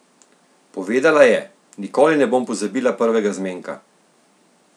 Povedala je: "Nikoli ne bom pozabila prvega zmenka.